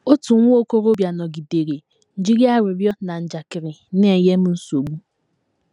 Otu nwa okorobịa nọgidere jiri arịrịọ na njakịrị na - enye m nsogbu.